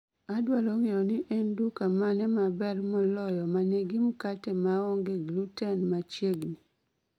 Adwaro ng'eyo ni en duka mane maber moloyo ma nigi mkate maongee gluten machiegni